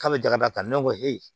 K'a bɛ jaba ta ne ko